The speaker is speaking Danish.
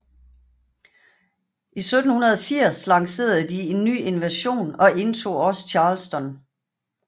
I 1780 lancerede de en ny invasion og indtog også Charleston